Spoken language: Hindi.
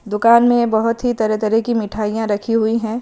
दुकान में बहुत ही तरह-तरह की मिठाइयां रखी हुई हैं।